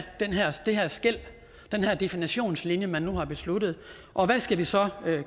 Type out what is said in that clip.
det her skel den her definitionslinje man nu har besluttet og hvad skal vi så